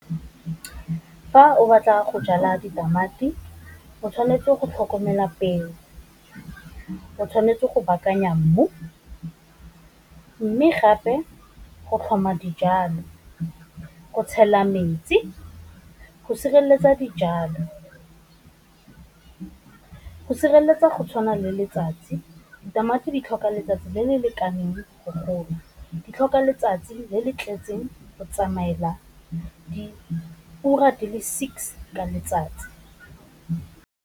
Fa o batla go jala ditamati, o tshwanetse go tlhokomela peo. O tshwanetse go baakanya mmu, mme gape go tlhoma dijalo, o tshela metsi go sireletsa dijalo, go sireletsa go tshwana le letsatsi, ditamati di tlhoka letsatsi le le lekaneng gore go gola, di tlhoka letsatsi le le tletseng go tsamaela di ura di le six ka letsatsi.